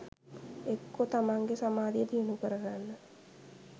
එක්කො තමන්ගේ සමාධිය දියුණු කරගන්න